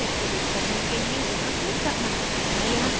और फिर मुझे account activate करने के लिए यहाँ click करना है